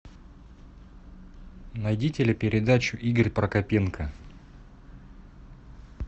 найди телепередачу игорь прокопенко